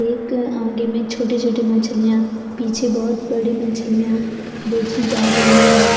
एक आगे में छोटी छोटी मछलियां पीछे बहुत बड़ी मछलियां बेचीं जा रही है।